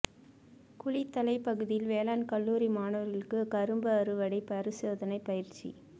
குளித்தலை பகுதியில் வேளாண் கல்லூரி மாணவர்களுக்கு கரும்பு அறுவடை பரிசோதனை பயிற்சி